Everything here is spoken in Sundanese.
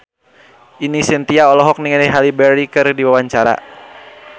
Ine Shintya olohok ningali Halle Berry keur diwawancara